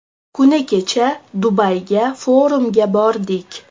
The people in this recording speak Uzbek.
Kuni kecha Dubayga forumga bordik.